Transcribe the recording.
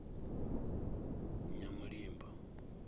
nyamulimba